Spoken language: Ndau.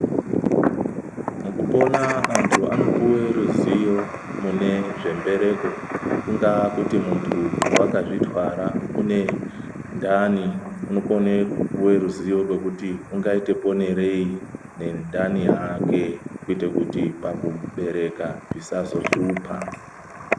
Mukupona antu anopuve ruzivo mune zvembereko, kungaa kuti muntu vakazvitwara une ndani unokone kupuve ruzivo rwekuti ungaite ponerei nendani yake. Kuiti kuti pakubereka zvisazohlupa.